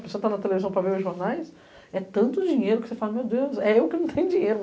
Você tá na televisão para ver os jornais, é tanto dinheiro que você fala, meu Deus, é eu que não tenho dinheiro.